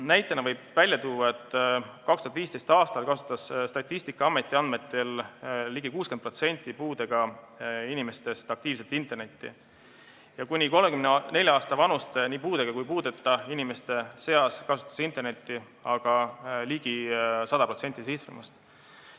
Näitena võib tuua, et 2015. aastal kasutas Statistikaameti andmetel ligi 60% puuetega inimestest aktiivselt internetti ja kuni 34 aasta vanuste nii puuetega kui ka puueteta inimeste seas kasutas internetti ligi 100% sihtrühmast.